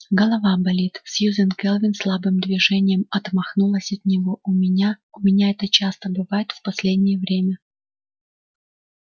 голова болит сьюзен кэлвин слабым движением отмахнулась от него у меня у меня это часто бывает в последнее время